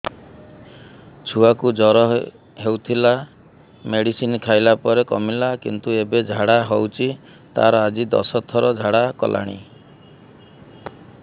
ଛୁଆ କୁ ଜର ହଉଥିଲା ମେଡିସିନ ଖାଇଲା ପରେ କମିଲା କିନ୍ତୁ ଏବେ ଝାଡା ହଉଚି ତାର ଆଜି ଦଶ ଥର ଝାଡା କଲାଣି